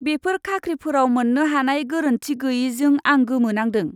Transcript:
बेफोर खाख्रिफोराव मोन्नो हानाय गोरोन्थि गैयैजों आं गोमोनांदों।